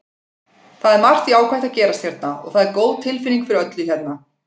Það er margt jákvætt að gerast hérna og það er góð tilfinning fyrir öllu hérna.